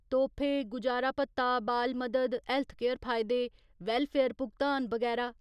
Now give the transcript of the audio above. तोह्फे, गुजारा भत्ता, बाल मदद, हैल्थकेयर फायदे, वैल्लफेयर भुगतान, बगैरा ।